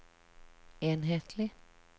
enhetlig